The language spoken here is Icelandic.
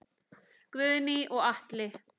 Guðný og Atli.